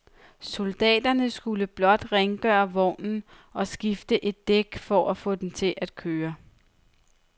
Soldaterne skulle blot rengøre vognen og skifte et dæk for at få den til at køre.